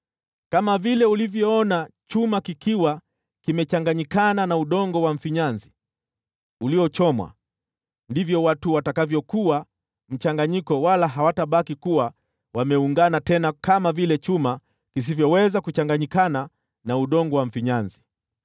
Kama vile ulivyoona chuma kikiwa kimechanganyikana na udongo wa mfinyanzi uliochomwa, ndivyo watu watakavyokuwa mchanganyiko, wala hawatabaki wameungana tena, kama vile chuma kisivyoweza kuchanganyikana na udongo wa mfinyanzi.